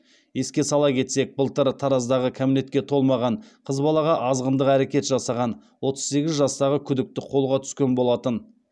еске сала кетсек былтыр тараздағы кәмелетке толмаған қыз балаға азғындық әрекет жасаған отыз сегіз жастағы күдікті қолға түскен болатын